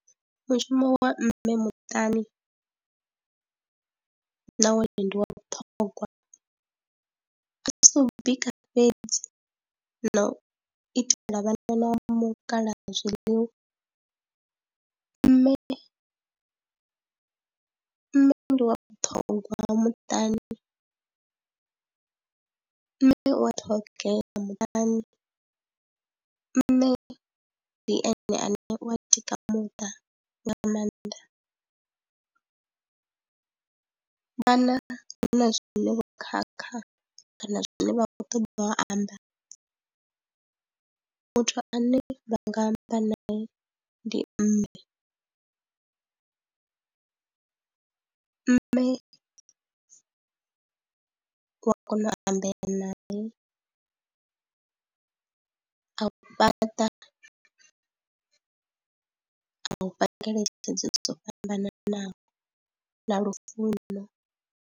Mushumo wa mme muṱani na wone ndi wa vhuṱhogwa, a si u bika fhedzi na u itela vhana na mukala zwiḽiwa, mme nṋe ndi wa vhuṱhogwa muṱani, mme u wa ṱhogea muṱani. mme ndi ene ane wa tika muṱa nga nga maanḓa, vhana hu na zwine vho khakha kana zwine vha khou ṱoḓa u amba muthu ane vha nga amba nae ndi mme. Mme u a kona u ambea nae a u fhaṱa, a u fha ngeletshedzo dzo fhambananaho na lufuno.